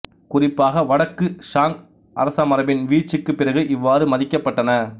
குறிப்பாக வடக்கு சாங் அரசமரபின் வீழ்ச்சிக்குப் பிறகு இவ்வாறு மதிக்கப்பட்டன